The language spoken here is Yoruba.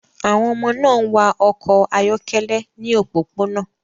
Àwọn ọmọ náà ń wa ọkọ̀ ayọ́kẹ́lẹ́ ní òpópónà